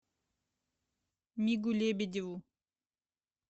мигу лебедеву